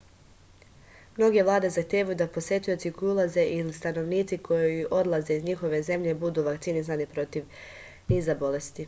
mnoge vlade zahtevaju da posetioci koji ulaze ili stanovnici koji odlaze iz njihove zemlje budu vakcinisani protiv niza bolesti